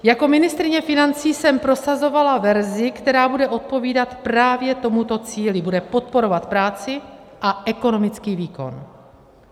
Jako ministryně financí jsem prosazovala verzi, která bude odpovídat právě tomuto cíli, bude podporovat práci a ekonomický výkon.